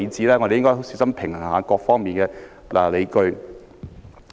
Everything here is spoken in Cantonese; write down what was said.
我們應該小心平衡各方面的理據。